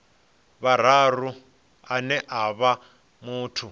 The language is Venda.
vhuraru ane a vha muthu